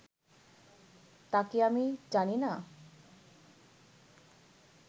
তা’ কি আমি জানি না